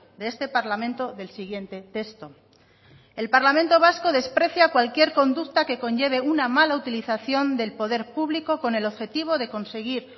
de este parlamento del siguiente texto el parlamento vasco desprecia cualquier conducta que conlleve una mala utilización del poder público con el objetivo de conseguir